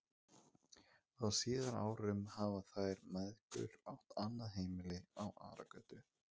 Hann var ekki í skapi fyrir leikfimiæfingar, og þar að auki voru timburmennirnir skelfilegir.